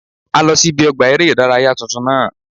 A lọ sí ibi ọgbà eré ìdárayá tuntun náà